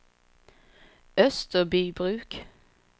Österbybruk